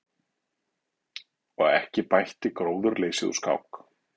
Og ekki bætti gróðurleysið úr skák.